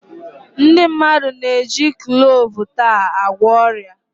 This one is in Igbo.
Ndị mmadụ na-eji kloovu taa agwọ ọrịa.